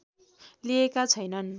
लिएका छैनन्